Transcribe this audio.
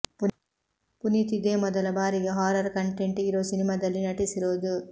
ಪುನೀತ್ ಇದೇ ಮೊದಲ ಬಾರಿಗೆ ಹಾರರ್ ಕಂಟೆಂಟ್ ಇರೋ ಸಿನಿಮಾದಲ್ಲಿ ನಟಿಸಿರೋದು